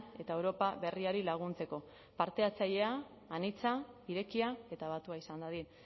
eta europa berriari laguntzeko parte hartzailea anitza irekia eta batua izan dadin